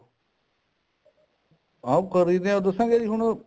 ਹਾਂ ਖਰੀਦ ਦੇ ਨੇ ਦੱਸਾਂ ਉਹ ਕਿਉਂ ਜੀ ਹੁਣ